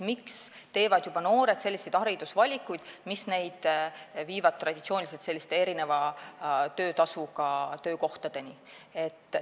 Miks teevad juba noored selliseid haridusvalikuid, mis neid viivad traditsiooniliselt erineva töötasuga töökohtadele?